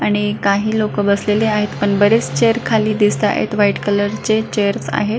आणि काही लोक बसलेले आहेत पण बरेच चेअर खाली दिसत आहेत व्हाइट कलरचे चेअर्स आहेत.